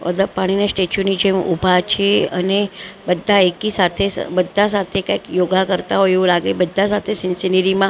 બધા પાણીના સ્ટેચ્યુ નીચે ઉભા છે અને બધા એકી સાથે બધા સાથે કઈ યોગા કરતા હોય એવું લાગે બધા સાથે સિનેરી માં--